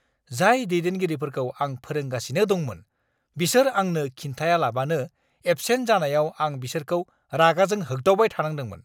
जाय दैदेनगिरिफोरखौ आं फोरोंगासिनो दंमोन, बिसोर आंनो खिन्थायालाबानो एबसेन्ट जानायाव आं बिसोरखौ रागाजों होग्दावबाय थानांदोंमोन!